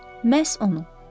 Məhz onu.